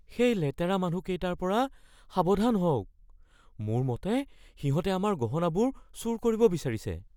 সেই লেতেৰা মানুহকেইটাৰ পৰা সাৱধান হওক। মোৰ মতে সিহঁতে আমাৰ গহনাবোৰ চুৰ কৰিব বিচাৰিছে।